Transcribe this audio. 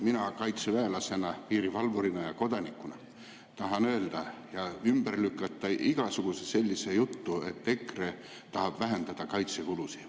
Mina kaitseväelasena, piirivalvurina ja kodanikuna tahan öelda ja ümber lükata igasuguse sellise jutu, et EKRE tahab vähendada kaitsekulusid.